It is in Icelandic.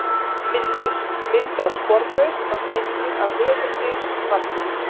Myndir: Mynd af sporbaug var teiknuð af höfundi svarsins.